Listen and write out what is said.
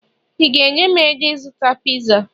ị ga-enye m ego ịzụta pizza?